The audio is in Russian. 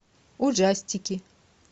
ужастики